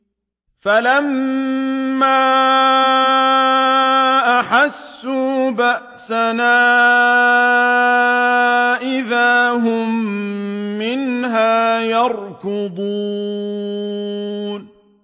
فَلَمَّا أَحَسُّوا بَأْسَنَا إِذَا هُم مِّنْهَا يَرْكُضُونَ